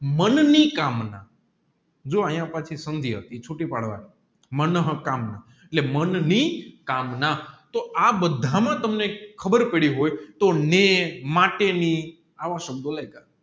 મનની કામના જો અહીંયા પાછી સંધિ હતી ચૂંટી પાડવાની મનોહકામના એટલે મનની કામના તોહ આબધા માં તમે ખબેર પેડી હોય તોહ ને માટેની આવા સંબંધો લેગ